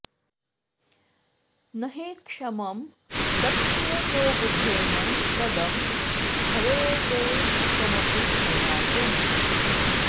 न हि क्षमं दक्षिणतो बुधेन पदं भवेदेकमपि प्रयातुम्